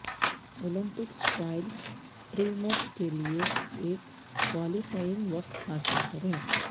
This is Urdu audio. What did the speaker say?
اولمپکس ٹرائلس ٹری میٹ کے لئے ایک کوالیفائنگ وقت حاصل کریں